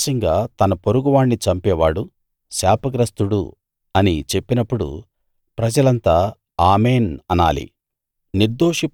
రహస్యంగా తన పొరుగువాణ్ణి చంపేవాడు శాపగ్రస్తుడు అని చెప్పినప్పుడు ప్రజలంతా ఆమేన్‌ అనాలి